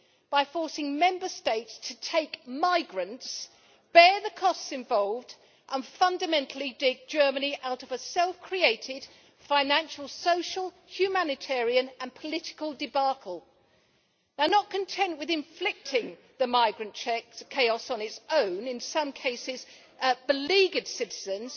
by forcing Member States to take migrants, bear the costs involved and, fundamentally, dig Germany out of a self created financial, social, humanitarian and political debacle. Not content with inflicting the migrant chaos on its own in some cases, beleaguered citizens,